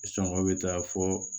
Sɔngɔ bɛ taa fɔ